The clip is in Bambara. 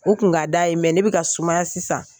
U kun ka d'a ye ne bɛ ka sumaya sisan.